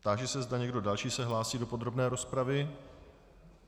Táži se, zda někdo další se hlásí do podrobné rozpravy.